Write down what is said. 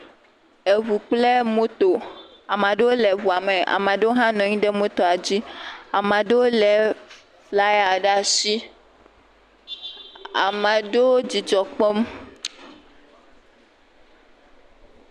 Eŋu kple moto, ame aɖewo le ŋu me ame aɖewo le moto dzi, ame aɖewo lé flaya ɖe asi, ame aɖewo le dzidzɔ kpɔm.